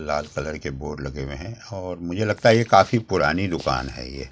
लाल colour के board लगे हुए हैं मुझे लगता है ये काफी पुरानी दुकान है ये।